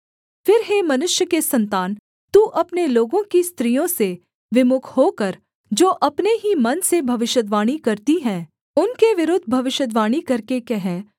फिर हे मनुष्य के सन्तान तू अपने लोगों की स्त्रियों से विमुख होकर जो अपने ही मन से भविष्यद्वाणी करती है उनके विरुद्ध भविष्यद्वाणी करके कह